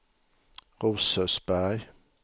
Rosersberg